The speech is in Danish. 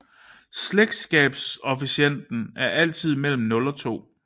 Slægtskabskoefficienten er altid mellem 0 og 2